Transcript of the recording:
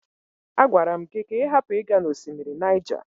A gwara m gị ka ị hapụ ịga na osimiri Niger.